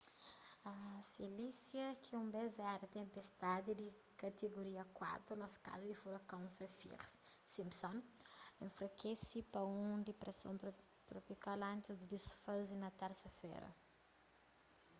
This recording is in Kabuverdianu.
felicia ki un bes éra tenpestadi di katigoria 4 na skala di furakon saffir-simpson enfrakese pa un dipreson tropikal antis di disfaze na térsa-fera